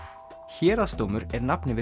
héraðsdómur er nafn yfir